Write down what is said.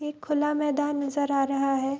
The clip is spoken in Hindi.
एक खुला मैदान दिखाई नजर आ रहा है।